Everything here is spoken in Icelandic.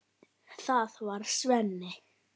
Það var Sveinn.